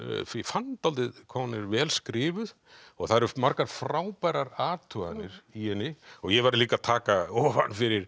fann dálítið hvað hún er vel skrifuð og það eru margar frábærar athuganir í henni ég verð líka að taka ofan fyrir